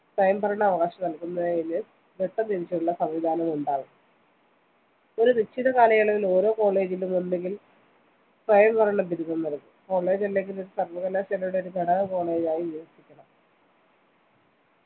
സ്വയംഭരണാവകാശം നല്‍കുന്നതിന് ഘട്ടംതിരിച്ചുള്ള സംവിധാനമുണ്ടാകും ഒരു നിശ്ചിത കാലയളവില്‍ ഓരോ college ലും ഒന്നുകില്‍ സ്വയംഭരണ ബിരുദം നല്‍കും college അല്ലെങ്കില്‍ ഒരു സര്‍വകലാശാലയുടെ ഒരു ഘടക college ആയി വികസിക്കണം